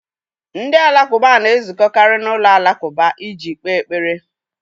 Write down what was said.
Ndị Alakụba na-ezukọkarị n'ụlọ alakụba iji kpee ekpere.